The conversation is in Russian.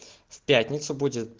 в пятницу будет